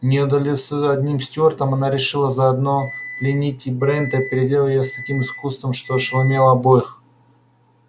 не удовольствовавшись одним стюартом она решила заодно пленить и брента и проделала это с таким искусством что ошеломила обоих